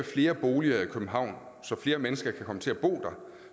flere boliger i københavn så flere mennesker kan komme til at bo der